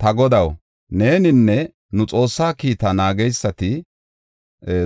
Ta godaw, neeninne nu Xoossa kiita naageysati